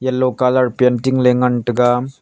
yellow colour painting le ngan tega.